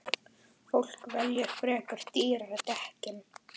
Fólk velji frekar dýrari dekkin.